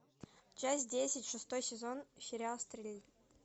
часть десять шестой сезон сериал